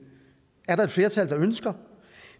er der et flertal der ønsker